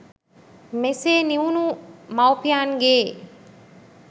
මෙසේ නිවුණ මවුපියන්ගේ